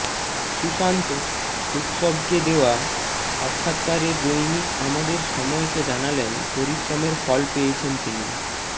সুসান্ত উৎসবকে দেওয়া সাক্ষাৎকারে দৈনিক আমাদের সময়কে জানালেন পরিশ্রমের ফল পেয়েছেন তিনি